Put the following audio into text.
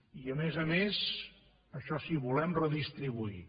i a més a més això sí volem redistribuir